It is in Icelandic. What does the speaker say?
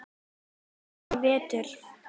Það er vetur.